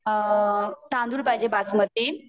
तांदूळ पाहिजे बासमती